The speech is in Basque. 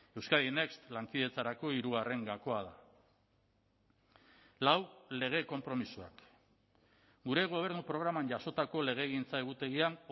euskadi next lankidetzarako hirugarren gakoa da lau lege konpromisoak gure gobernu programan jasotako legegintza egutegian